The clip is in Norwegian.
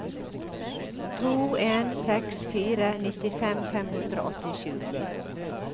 to en seks fire nittifem fem hundre og åttisju